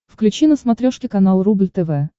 включи на смотрешке канал рубль тв